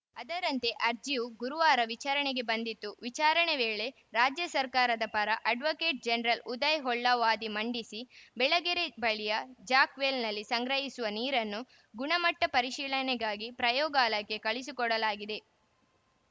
ಅದರಂತೆ ಅರ್ಜಿಯು ಗುರುವಾರ ವಿಚಾರಣೆಗೆ ಬಂದಿತ್ತು ವಿಚಾರಣೆ ವೇಳೆ ರಾಜ್ಯ ಸರ್ಕಾರದ ಪರ ಅಡ್ವೊಕೇಟ್‌ ಜನರಲ್‌ ಉದಯ ಹೊಳ್ಳ ವಾದ ಮಂಡಿಸಿ ಬೆಳಗೆರೆ ಬಳಿಯ ಜಾಕ್‌ವೆಲ್‌ನಲ್ಲಿ ಸಂಗ್ರಹಿಸಿರುವ ನೀರನ್ನು ಗುಣಮಟ್ಟಪರಿಶೀಲನೆಗಾಗಿ ಪ್ರಯೋಗಾಲಯಕ್ಕೆ ಕಳುಹಿಸಿಕೊಡಲಾಗಿದೆ